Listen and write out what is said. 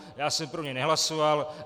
Já jsem pro něj nehlasoval.